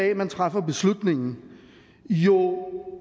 at man træffer beslutningen jo